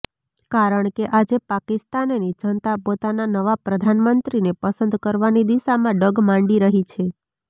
કારણ કે આજે પાકિસ્તાનની જનતા પોતાના નવા પ્રધાનમંત્રીને પસંદ કરવાની દિશામાં ડગ માંડી રહી છે